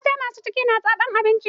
Mata masu ciki na zaɓan abinci.